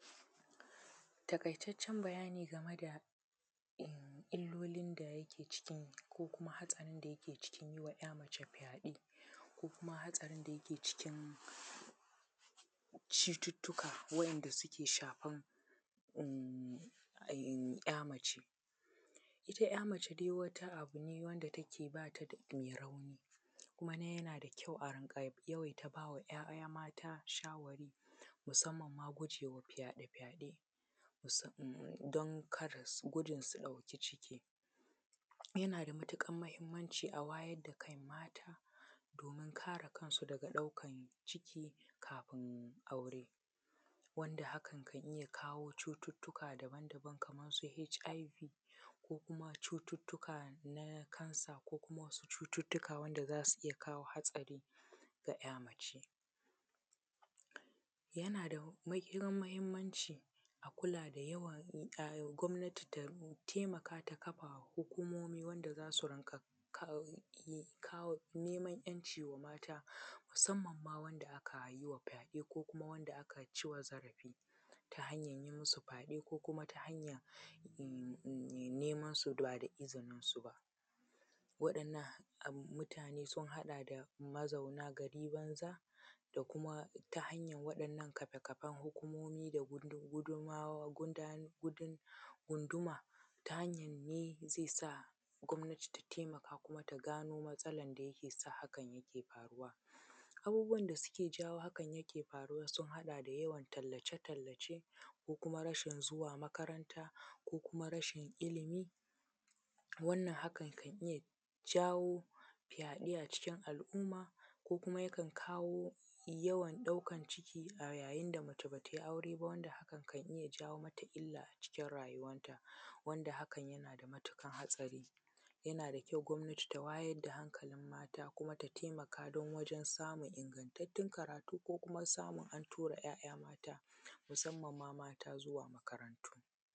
Taƙaitaccen bayani game da illolin da yake cikin ko kuma hatsarin da yake cikin yima `ya mace fyaɗe ko kuma hatsarin da yake cikin cututtuka wa`yanda suke shafan umm`ya mace, ita`ya mace dai wata abu ne wanda take bata um mai rauni kuma yana da kyau a rinka yawai ta ba wa `ya`ya mata shawarwari musamman ma gujewa fyaɗe fyaɗe don karas gudun su ɗauki ciki, yana da matuƙan mahimmanci a wayar da kan mata domin kare kansu daga ɗaukan ciki kafin aure wanda hakan kan iya kawo cututtuka daban daban kaman su “HIV” ko kuma cututtuka na “cancer” ko kuma cututtuka wanda zasu iya kawo hatsari ga `ya mace, yana da mahim mahimmanci a kula da yawan gwamnati ta taimaka ta kafa hukumomi wanda zasu riƙa kawo kawo neman `yanci wa mata musamman ma wanda aka yiwa fyaɗe ko kuma wanda aka ciwa zarafi ta hanyan yi musu fyaɗe ko kuma ta hanyan um um neman su ba da izinin su ba waɗannan mutane sun haɗa da mazauna gari banza da kuma ta hanyan waɗannan kafe kafen hukumomi gudumawa gudanye gunduma ta hanyan ne zai sa gwamnati ta taimaka kuma ta gano matsalan da yake sa hakan yake faruwa, abubuwan da suke jawo hakan yake faruwa sun haɗa da yawan tallace tallace ko kuma rashin zuwa makarata ko kuma rashin ilimi wannan hakan kan iya jawo fyaɗe a cikin al`umma ko kuma yakan kawo yawan ɗaukan ciki a yayin da mace bata yi aure ba wanda hakan kan iya jawo mata illa a cikin rayuwan ta wanda hakan yana da matuƙan hatsari, yana da kyau gwamnati ta wayar da hakalin mata kuma ta taimaka don wajen samun ingantattun karatu ko kuma samun a tura `ya`ya mata masamman ma `ya`ya mata zuwa karatu.